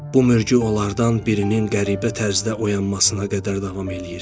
Bu mürgü onlardan birinin qəribə tərzdə oyanmasına qədər davam eləyir.